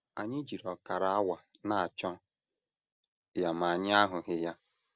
Anyị jiri ọkara awa na - achọ ya ma anyị ahụghị ya.